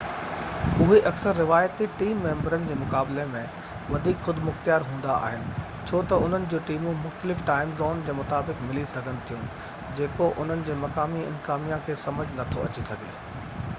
اهي اڪثر روايتي ٽيم ميمبرن جي مقابلي ۾ وڌيڪ خودمختيار هوندا آهن ڇو تہ انهن جون ٽيمون مختلف ٽائيم زون جي مطابق ملي سگهن ٿيون جيڪو انهن جي مقامي انتظاميا کي سمجهہ نٿو اڇي سگهي